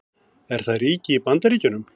Er það ríki í Bandaríkjunum?